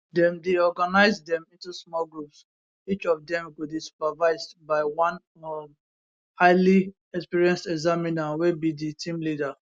dem dey organise dem into small groups each of dem go dey supervised by one um highly experienced examiner wey be di team leader